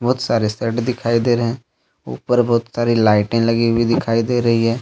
बहुत सारे शर्ट दिखाई दे रहे हैं ऊपर बहुत सारी लाइटें लगी हुई दिखाई दे रही है।